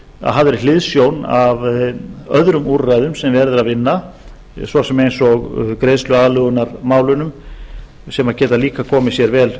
að hafðri hliðsjón af öðrum úrræðum sem verið er að vinna svo sem greiðsluaðlögunarmálunum sem geta líka komið sér vel